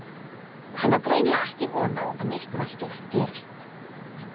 Hann á greinilega ekki von á að neitt merkilegt gerist.